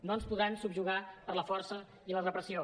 no ens podran subjugar per la força i la repressió